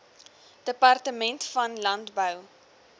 departement van landbou